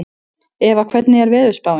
Eva, hvernig er veðurspáin?